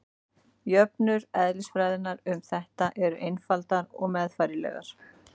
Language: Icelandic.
jöfnur eðlisfræðinnar um þetta eru einfaldar og meðfærilegar